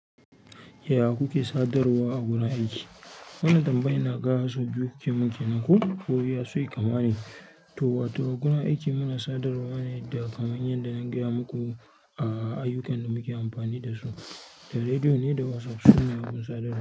Yaya kuke sadarwa a gudan aiki? Wannan tambaya inaga sau biyu kuke mun kenan ko iya ashe kama ne. To, wato, a gurin aiki muna sadarwa ne da kamun yanda na gaya muku a ayyukan da muke amfani dasu, da rediyo ne da WhatsApp sune abun sadarwa.